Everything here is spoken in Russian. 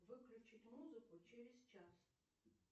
выключить музыку через час